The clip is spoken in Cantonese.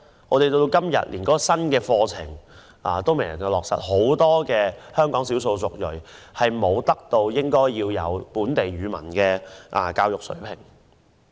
我們直到今天連新的課程都未能落實，香港很多少數族裔人士無法達致應有的本地語文水平。